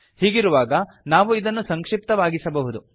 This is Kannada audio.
ಹೀಗಿರುವಾಗ ನಾವು ಇದನ್ನು ಸಂಕ್ಷಿಪ್ತವಾಗಿಸಬಹುದು